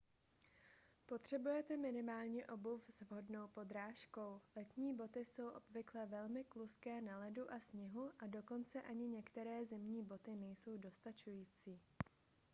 potřebujete minimálně obuv s vhodnou podrážkou letní boty jsou obvykle velmi kluzké na ledu a sněhu a dokonce ani některé zimní boty nejsou dostačující